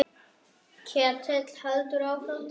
Ketill heldur áfram til Mílanó.